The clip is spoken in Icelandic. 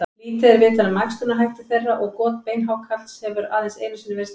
Lítið er vitað um æxlunarhætti þeirra og got beinhákarls hefur aðeins einu sinni verið staðfest.